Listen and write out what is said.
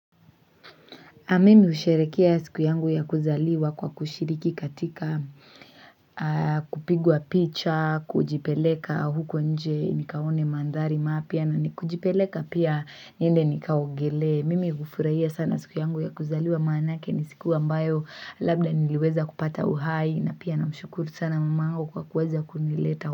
Mimi husherehekea siku yangu ya kuzaliwa kwa kushiriki katika kupigwa picha, kujipeleka huko nje nikaone mandhari mapya, na ni kujipeleka pia niende nikaogelee. Mimi hufurahia sana siku yangu ya kuzaliwa maanake ni siku ambayo labda niliweza kupata uhai na pia namshukuru sana mamangu kwa kuweza kunileta.